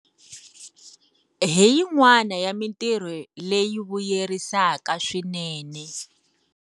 Hi yin'wana ya mitirho leyi vuyerisaka swinene.